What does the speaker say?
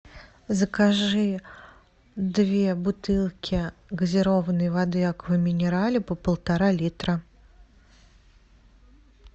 закажи две бутылки газированной воды аква минерале по полтора литра